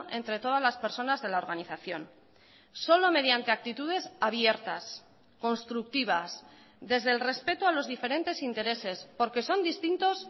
entre todas las personas de la organización solo mediante actitudes abiertas constructivas desde el respeto a los diferentes intereses porque son distintos